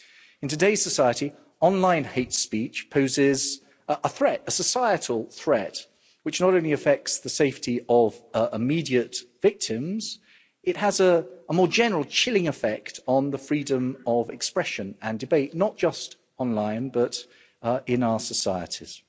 In today's society, online hate speech poses a societal threat, which not only affects the safety of immediate victims, but has a more general chilling effect on the freedom of expression and debate, not just online but in our societies.